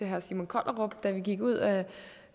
herre simon kollerup da vi gik ud af